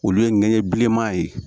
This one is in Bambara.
Olu ye ŋɛɲɛ bilenman ye